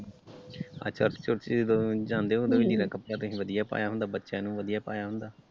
ਅੱਛਾ church church ਜਿਦੋ ਜਾਂਦੇ ਹੁੰਦੇ ਉਦੋਂ ਲੀੜਾ ਕੱਪੜਾ ਤੁਸੀ ਵਧੀਆ ਪਾਇਆ ਹੁੰਦਾ ਬੱਚਿਆਂ ਨੂੰ ਵਧੀਆ ਪਾਇਆ ਹੁੰਦਾ ।